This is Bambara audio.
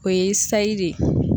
O ye sayi de ye.